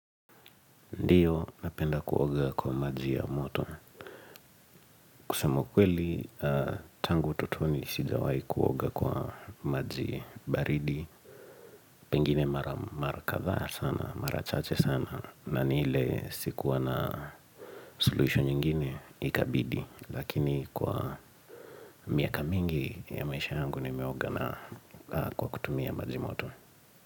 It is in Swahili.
Ndio, napenda kuoga kwa maji ya moto. Kusema ukweli, tangu utotoni sijawahi kuoga kwa maji baridi. Pengine mara kadhaa sana, mara chache sana. Na ni ile sikuwa na solution nyingine ikabidi. Lakini kwa miaka mingi ya maisha yangu nimeoga na kwa kutumia maji moto.